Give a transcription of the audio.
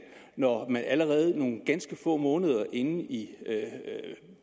når man allerede nogle ganske få måneder inde i